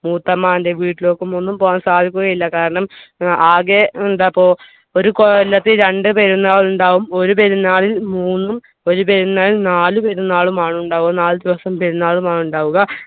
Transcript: മൂത്തമാന്റെ വീട്ടിലേക്കൊന്നും പോകാൻ സാധിക്കുക ഇല്ല കാരണം ഏർ ആകെ എന്താപ്പോ ഒരു കൊല്ലത്തിൽ രണ്ടു പെരുന്നാൾ ഇണ്ടാവും ഒരു പെരുന്നാളിൽ മൂന്നും ഒരു പെരുന്നാളിൽ നാല് പെരുന്നാളും ആൺ ഇണ്ടാവുക നാല് ദിവസം പെരുന്നാളും ആൺ ഇണ്ടാവുക